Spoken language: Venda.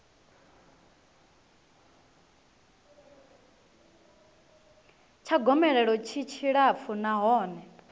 tsha gomelelo tshi tshilapfu nahone